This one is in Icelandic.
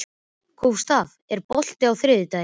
Gústaf, er bolti á þriðjudaginn?